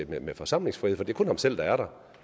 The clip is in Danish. med forsamlingsfrihed for det er kun ham selv der er der